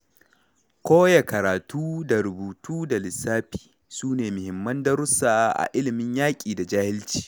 Koya karatu da rubutu da lissafi, sune muhimman darussa a ilimin yaƙi da jahilci.